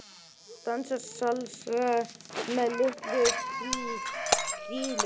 Dansa salsa með litlu krílunum